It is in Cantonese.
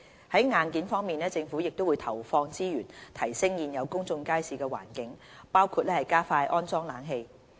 在硬件方面，政府會投放資源提升現有公眾街市的環境，包括加快安裝冷氣。